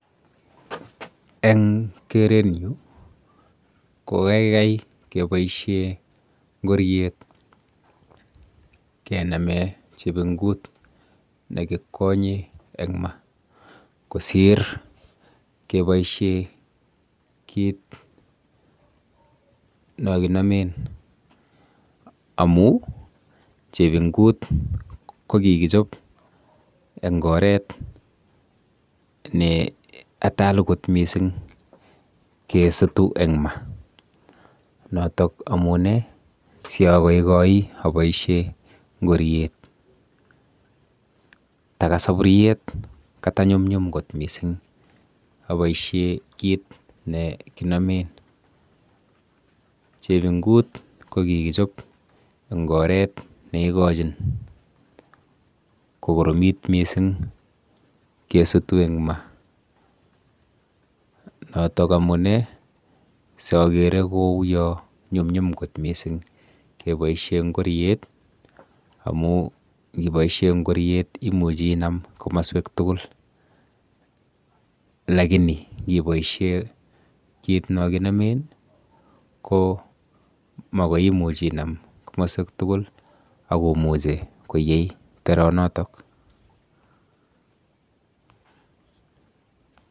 Eng kerenyu ko keikei keboishe ngoriet kename chepingut nekikwonye eng ma kosir keboishe kit nokinomen amu chepingut ko kikichop eng oret neatal kot mising emg ma notok amune siakoikoi aboishe ngoriet. Taka saburyet katanyumnyum kot mising aboishe kit nekinomen. Chepingut ko kikichop eng oret neikochin kokoromit mising kesutu eng ma notok amune sokere kou yo nyumnyum kot mising keboishe ngoriet amu ngiboishe ngoriet imuchi inam komaswek tugul lakini ngiboishe kit nokinomen ko makoi imuch inam komaswek tugul akomuchi koyey teronotok.